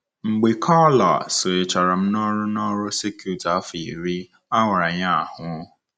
Mgbe Karla sonyechara m n'ọrụ n'ọrụ circuit afọ iri, a wara ya ahụ́.